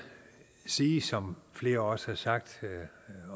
sige som flere også har sagt